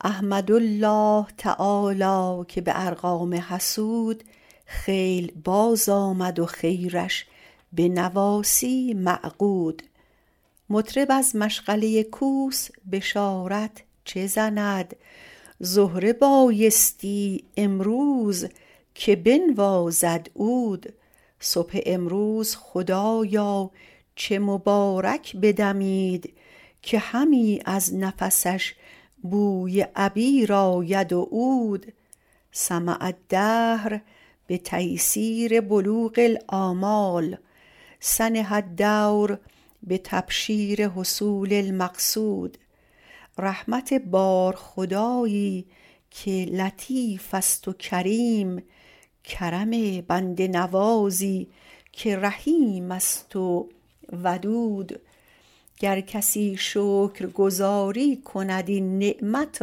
احمدالله تعالی که به ارغام حسود خیل بازآمد و خیرش به نواصی معقود مطرب از مشغله کوس بشارت چه زند زهره بایستی امروز که بنوازد عود صبح امروز خدایا چه مبارک بدمید که همی از نفسش بوی عبیر آید و عود سمع الدهر بتیسیر بلوغ الامال سنح الدور بتبشیر حصول المقصود رحمت بار خدایی که لطیفست و کریم کرم بنده نوازی که رحیمست و ودود گر کسی شکرگزاری کند این نعمت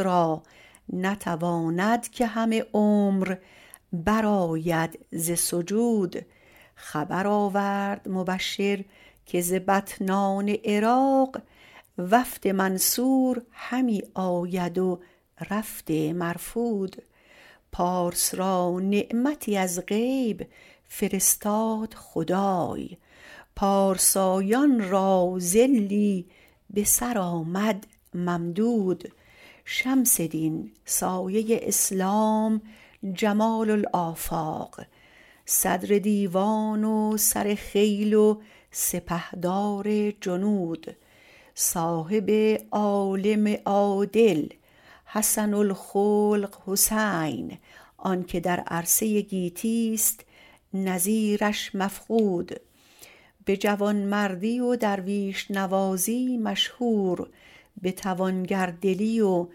را نتواند که همه عمر برآید ز سجود خبر آورد مبشر که ز بطنان عراق وفد منصور همی آید و رفد مرفود پارس را نعمتی از غیب فرستاد خدای پارسایان را ظلی به سر آمد ممدود شمس دین سایه اسلام جمال الافاق صدر دیوان و سر خیل و سپهدار جنود صاحب عالم عادل حسن الخلق حسین آنکه در عرصه گیتیست نظیرش مفقود به جوانمردی و درویش نوازی مشهور به توانگردلی و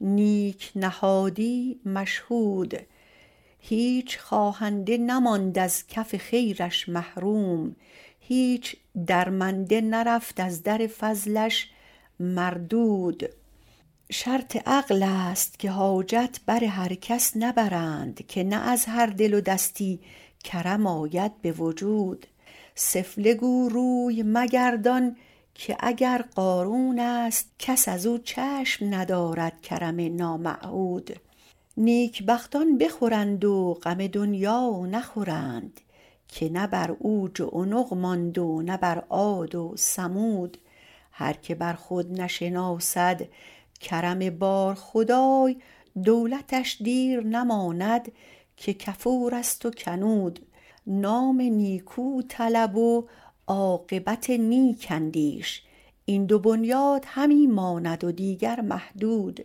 نیک نهادی مشهود هیچ خواهنده نماند از کف خیرش محروم هیچ درمنده نرفت از در فضلش مردود شرط عقلست که حاجت بر هر کس نبرند که نه از هر دل و دستی کرم آید به وجود سفله گو روی مگردان که اگر قارونست کس ازو چشم ندارد کرم نامعهود نیک بختان بخورند و غم دنیا نخورند که نه بر عوج و عنق ماند و نه بر عاد و ثمود هر که بر خود نشناسد کرم بارخدای دولتش دیر نماند که کفورست و کنود نام نیکو طلب و عاقبت نیک اندیش این دو بنیاد همی ماند و دیگر مهدود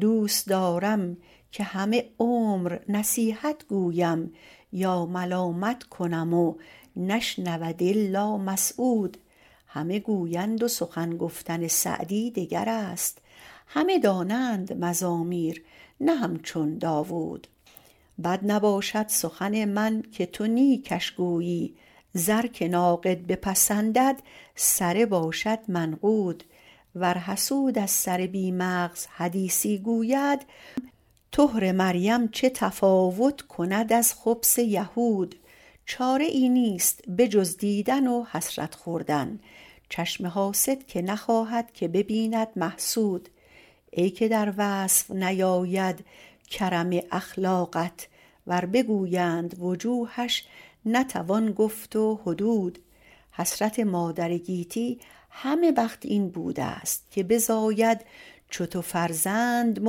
دوست دارم که همه عمر نصیحت گویم یا ملامت کنم و نشنود الا مسعود همه گویند و سخن گفتن سعدی دگرست همه دانند مزامیر نه همچون داود بد نباشد سخن من که تو نیکش گویی زر که ناقد بپسندد سره باشد منقود ور حسود از سر بی مغز حدیثی گوید طهر مریم چه تفاوت کند از خبث یهود چاره ای نیست به جز دیدن و حسرت خوردن چشم حاسد که نخواهد که ببیند محسود ای که در وصف نیاید کرم اخلاقت ور بگویند وجوهش نتوان گفت و حدود حسرت مادر گیتی همه وقت این بودست که بزاید چو تو فرزند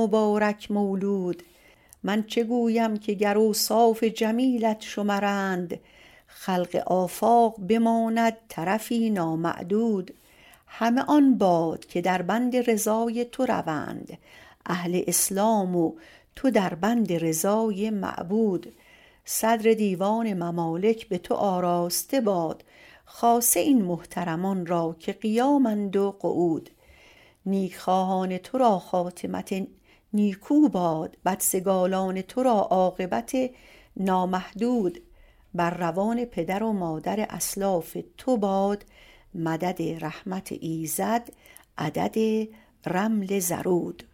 مبارک مولود من چه گویم که گر اوصاف جمیلت شمرند خلق آفاق بماند طرفی نامعدود همه آن باد که در بند رضای تو روند اهل اسلام و تو در بند رضای معبود صدر دیوان ممالک به تو آراسته باد خاصه این محترمان را که قیامند و قعود نیک خواهان تو را خاتمت نیکو باد بدسگالان تو را عاقبت نامحمود بر روان پدر و مادر اسلاف تو باد مدد رحمت ایزد عدد رمل زرود